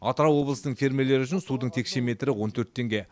атырау облысының фермерлері үшін судың текше метрі он төрт теңге